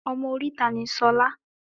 Ọmọ oríta ni Ṣolá